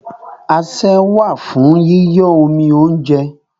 Asẹ́ wà fún yíyọ́ omi óúnjẹ.